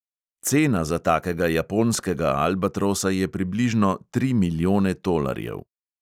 Cena za takega japonskega albatrosa je približno tri milijone tolarjev.